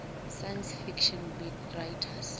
science fiction writers